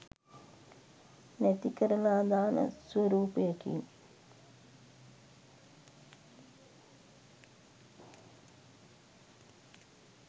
නැතිකරලා දාන ස්වරූපයකින්.